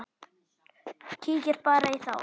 Kíkið bara í þá!